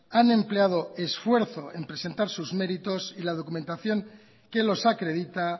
han empleado esfuerzo en presentar sus méritos y la documentación que los acredita